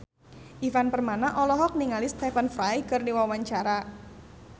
Ivan Permana olohok ningali Stephen Fry keur diwawancara